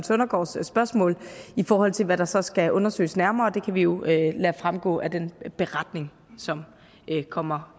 søndergaards spørgsmål i forhold til hvad der så skal undersøges nærmere det kan vi jo lade fremgå af den beretning som kommer